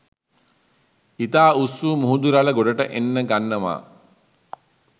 ඉතා උස්වූ මුහුදු රළ ගොඩට එන්න ගන්නව